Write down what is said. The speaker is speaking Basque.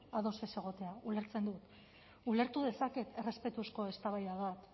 ados ez egotea ulertzen dut ulertu dezaket errespetuzko eztabaida bat